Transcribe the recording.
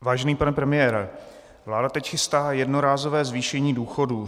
Vážený pane premiére, vláda teď chystá jednorázové zvýšení důchodů.